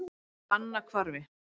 Fannahvarfi